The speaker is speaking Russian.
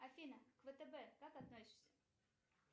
афина к втб как относишься